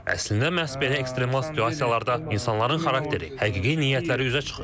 Əslində məhz belə ekstremal situasiyalarda insanların xarakteri, həqiqi niyyətləri üzə çıxır.